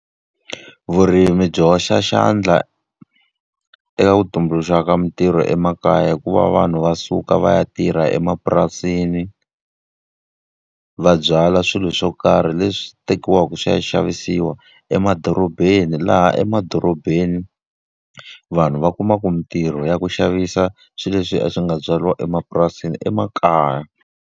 Vurimi byi hoxa xandla eka ku tumbuluxa ka mitirho emakaya hi ku va vanhu va suka va ya tirha emapurasini, va byala swilo swa ku karhi leswi tekiwaka swi ya xavisiwa emadorobeni. Laha emadorobeni vanhu va kuma ku mitirho ya ku xavisa swilo leswi a swi nga byariwa emapurasini emakaya.